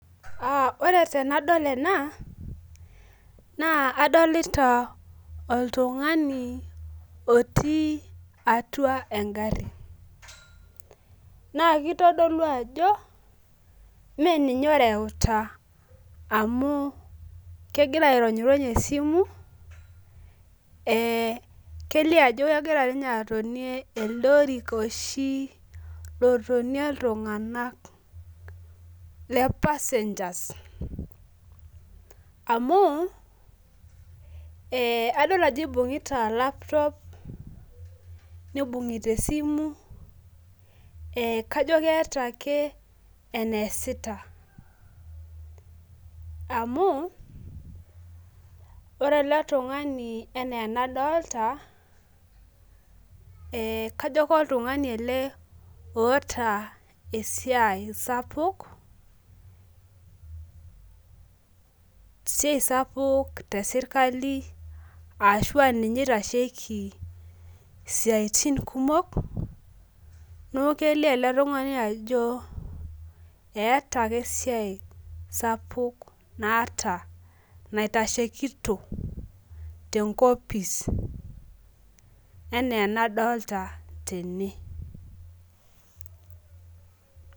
Ore tenadol ena naa adolita oltungani otii egari. naa kitodolu ajo mme ninye oreuta amu kegira aironyirony esimu.ee kelio ajo kegira ninye atonie elde orika oshi oronie iltunganak le passengers amu ee adol ajo ibung'ita laptop nibung'ita esimu.ee kajo keeta ake eneesita. amu ore ele tungani anaa enadolta. kajo loltunngani ele oota esiai sapuk. esiai te sirkali ashu ninye oitasheki istiatin kumok. neeku kelioo ele tungani ajo eeta ake esiai sapuk naata. Naitashekito te nkopis. anaa enadoolta tene.